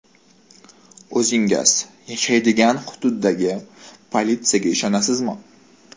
O‘zingiz yashaydigan hududdagi politsiyaga ishonasizmi?